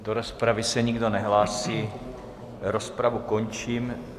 Do rozpravy se nikdo nehlásí, rozpravu končím.